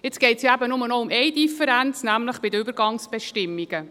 Jetzt geht es ja nur noch um eine Differenz, nämlich bei den Übergangsbestimmungen.